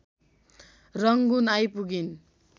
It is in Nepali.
रङ्गुन आइपुगिन्।